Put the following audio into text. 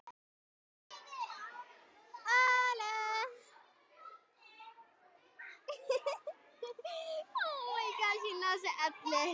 Ert þú vinur hennar Lóu?